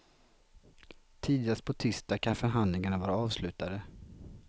Tidigast på tisdag kan förhandlingarna vara avslutade.